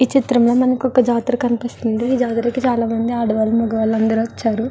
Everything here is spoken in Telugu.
ఈ చిత్రంలో మనకి ఒక జాతర కనిపిస్తుంది ఆ జాతరకి చాలామంది ఆడవాళ్ళు మగవాళ్ళు వచ్చారు.